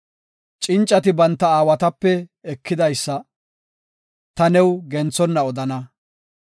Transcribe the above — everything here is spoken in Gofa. Cincati banta aawatape ekidaysa, ta new genthonna odana.